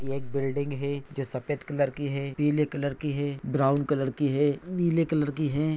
ये एक बिल्डिंग है जो की सफ़ेद कलर की है पीले कलर की है ब्राउन कलर की है नीले कलर की है।